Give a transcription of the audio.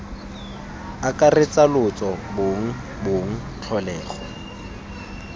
akaretsa lotso bong bong tlholego